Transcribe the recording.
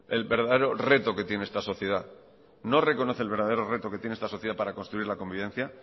el verdadero reto que tiene esta sociedad no reconoce el verdadero reto que tiene esta sociedad para construir la convivencia